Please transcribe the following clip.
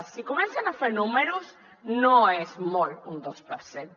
si comencen a fer números no és molt un dos per cent